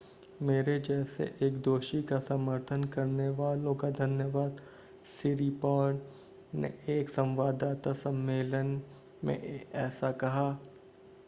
मेरे जैसे एक दोषी का समर्थन करने वालों का धन्यवाद सिरीपॉर्न ने एक संवाददाता सम्मेलन में ऐसा कहा